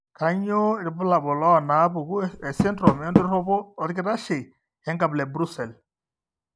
Kainyio irbulabul onaapuku esindirom endoropo orkitashei, enkabila eBrussels?